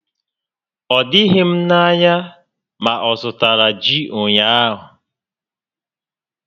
O doghi m ányá ma ọzụtara ji ụnyaahụ